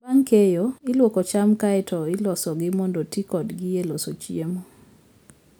Bang' keyo, ilwoko cham kae to ilosogi mondo oti kodgi e loso chiemo.